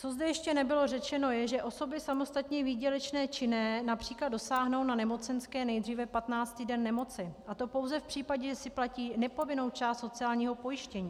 Co zde ještě nebylo řečeno, je, že osoby samostatně výdělečně činné například dosáhnou na nemocenské nejdříve 15. den nemoci, a to pouze v případě, že si platí nepovinnou část sociálního pojištění.